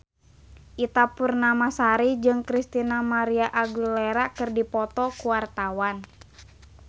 Ita Purnamasari jeung Christina María Aguilera keur dipoto ku wartawan